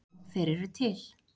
Já, þeir eru til.